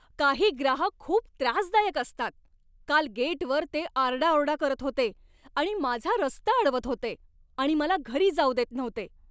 काही ग्राहक खूप त्रासदायक असतात. काल गेटवर ते आरडाओरडा करत होते आणि माझा रस्ता अडवत होते आणि मला घरी जाऊ देत नव्हते!